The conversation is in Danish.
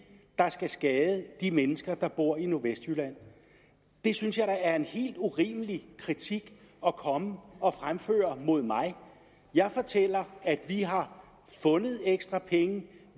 der skal skade de mennesker der bor i nordvestjylland det synes jeg da er en helt urimelig kritik at komme og fremføre mod mig jeg fortæller at vi har fundet ekstra penge